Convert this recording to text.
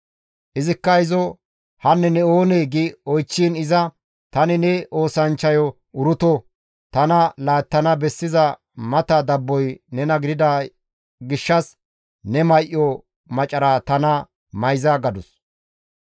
Izikka izo, «Hanne ne oonee?» gi oychchiin iza, «Tani ne oosanchchayo Uruto; tana laattana bessiza mata dabboy nena gidida gishshas ne may7o macara tana mayza» gadus.